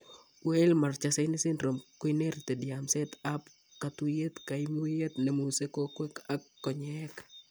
Weill Marchesani syndrome koinherited yamset ab katuiyet kaimutyet nemuse kowek ak konyeek